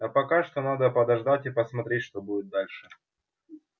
а пока что надо подождать и посмотреть что будет дальше